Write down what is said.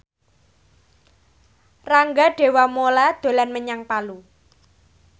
Rangga Dewamoela dolan menyang Palu